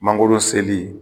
Mangoro seli